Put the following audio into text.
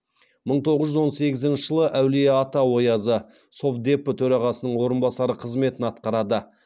мың тоғыз жүз он сегізінші жылы әулиеата оязы совдепі төрағасының орынбасары қызметін атқарады